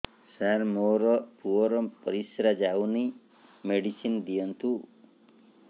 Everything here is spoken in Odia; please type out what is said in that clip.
ସାର ମୋର ପୁଅର ପରିସ୍ରା ଯାଉନି ମେଡିସିନ ଦିଅନ୍ତୁ